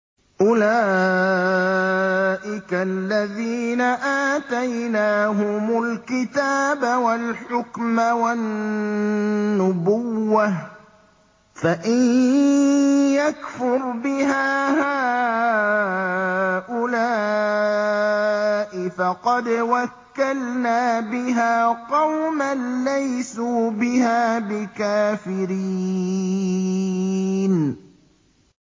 أُولَٰئِكَ الَّذِينَ آتَيْنَاهُمُ الْكِتَابَ وَالْحُكْمَ وَالنُّبُوَّةَ ۚ فَإِن يَكْفُرْ بِهَا هَٰؤُلَاءِ فَقَدْ وَكَّلْنَا بِهَا قَوْمًا لَّيْسُوا بِهَا بِكَافِرِينَ